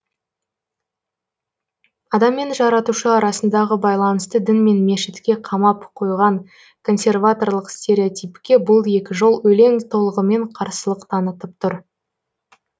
адам мен жаратушы арасындағы байланысты дін мен мешітке қамап қойған консерваторлық стереотипке бұл екі жол өлең толығымен қарсылық танытып тұр